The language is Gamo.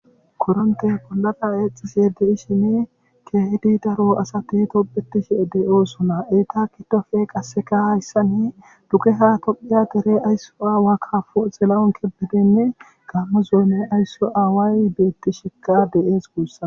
Koronttey bollara eexxishiini keehidi daro asay tobbettishe de7oosona eta giddofe qassseka hayssani dugeha tophiya deriya ayso aawa kaapo xilahun kebbedeynne gaammo zoone ayso aaway beettishekka de7ees guussa.